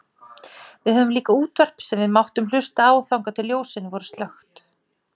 Við höfðum líka útvarp sem við máttum hlusta á þangað til ljósin voru slökkt.